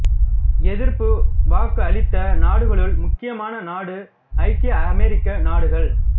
எதிர்ப்பு வாக்கு அளித்த நாடுகளுள் முக்கியமான நாடு ஐக்கிய அமெரிக்க நாடுகள்